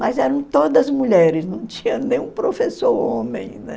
Mas eram todas mulheres, não tinha nenhum professor homem, né?